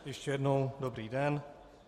Ještě jednou dobrý den.